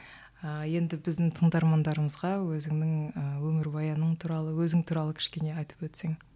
ыыы енді біздің тыңдармандарымызға өзіңнің ы өмірбаяның туралы өзің туралы кішкене айтып өтсең